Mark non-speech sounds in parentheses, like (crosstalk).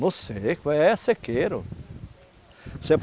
No seco, é sequeiro. (unintelligible)